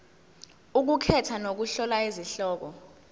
ukukhetha nokuhlola izihloko